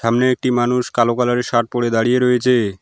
সামনে একটি মানুষ কালো কালার -এর শার্ট পড়ে দাঁড়িয়ে রয়েছে।